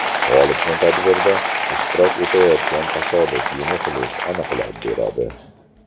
G‘olibni tadbirda ishtirok etayotgan tasodifiy muxlis aniqlab beradi.